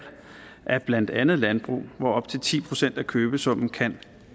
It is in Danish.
af blandt andet landbrug hvor op til ti procent af købesummen kan